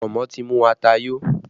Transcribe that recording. Pọ̀nmọ́ ti mu ata yo